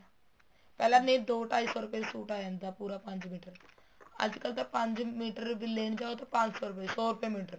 ਪਹਿਲਾ ਨਹੀਂ ਸੋ ਢਾਈ ਚ suit ਆ ਜਾਂਦਾ ਪੂਰਾ ਪੰਜ ਮੀਟਰ ਅੱਜ ਕੱਲ ਤਾਂ ਪੰਜ ਮੀਟਰ ਵੀ ਲੈਣ ਜਾਹੋ ਤਾਂ ਪੰਜ ਸੋ ਰੁਪਏ ਸੋ ਰੁਪਏ ਮੀਟਰ